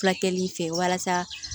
Fulakɛli fɛ walasa